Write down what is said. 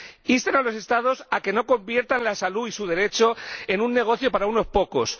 insten a los Estados a que no conviertan la salud y su derecho en un negocio para unos pocos.